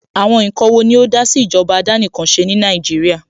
Àwọn ǹkan wo ni ó dásí ìjọba àdánìkanṣe ní Nàìjíríà?